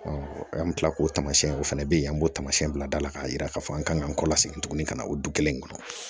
an bɛ tila k'o tamasiyɛn o fana bɛ yen an b'o taamasiyɛn bila da la k'a jira k'a fɔ an kan kɔ la seginni ka na o du kelen kɔnɔ